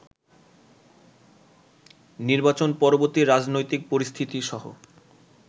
নির্বাচন পরবর্তী রাজনৈতিক পরিস্থিতিসহ